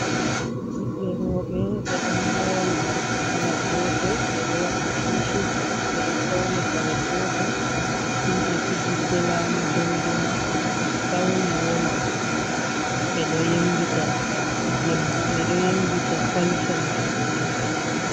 Ɓiɓɓe roɓe ɓe ɗon mori morɗi kala gotel, ɓeɗo waɗi tishejji ɓeɗo fauni kare gotel, himɓe fijirde laamu dondono ɓeɗo fauni woma, ɓeɗo yembita kolco maɓɓe.